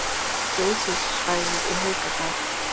Geysissvæðið í Haukadal